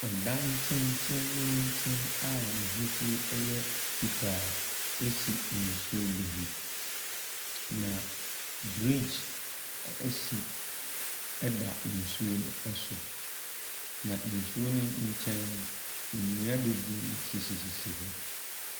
Ɔdan tenteenten a n'ahosuo yɛ fitaa si nsuo bi ho, na bridge ɛsi ɛda nsuo no so, na nsuo no nkyɛn no, nnua bebree sisisisi hɔ.